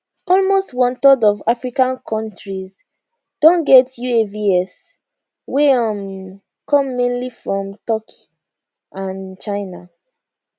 almost onethird of african kontris don get uavs wey um come mainly from turkey and china